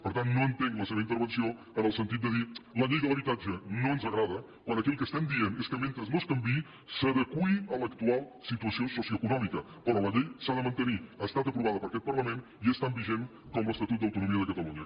per tant no entenc la seva intervenció en el sentit de dir la llei de l’habitatge no ens agrada quan aquí el que estem dient és que mentre no es canviï s’adeqüi a l’actual situació socioeconòmica però la llei s’ha de mantenir ha estat aprovada per aquest parlament i és tan vigent com l’estatut d’autonomia de catalunya